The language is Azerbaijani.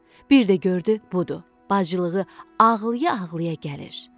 Bir də gördü budur, bacılığı ağlaya-ağlaya gəlir.